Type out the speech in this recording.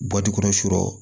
kɔnɔ sɔrɔ